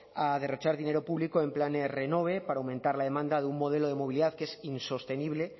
a derrochar dinero público en planes renove para aumentar la demanda de un modelo de movilidad que es insostenible